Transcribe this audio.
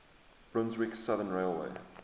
brunswick southern railway